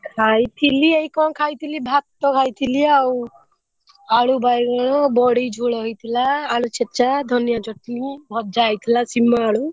ଖାଇଥିଲି ଏଇ ଙ୍କ ଖାଇଥିଲି ଭାତ ଖାଇଥିଲି ଆଉ ଆଳୁ ବାଇଗଣ ବଢି ଝୋଳ ହେଇଥିଲା ଆଳୁ ଛେଚା ଧନିଆ ଚଟଣି ଭଜା ହେଇଥିଲା ସିମ ଆଳୁ।